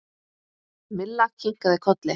Milla kinkaði kolli.